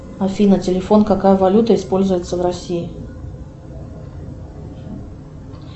афина телефон какая валюта используется в россии